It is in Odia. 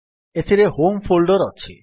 ଏଥିରେ ହୋମ୍ ଫୋଲ୍ଡର୍ ଅଛି